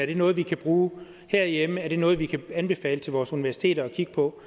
det noget vi kan bruge herhjemme og er det noget vi kan anbefale vores universiteter at kigge på